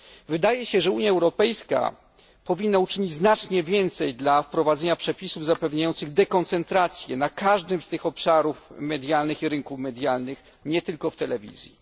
Wydaje się, że Unia Europejska powinna uczynić znacznie więcej dla wprowadzenia przepisów zapewniających dekoncentrację na każdym z tych obszarów rynku medialnego, nie tylko w telewizji.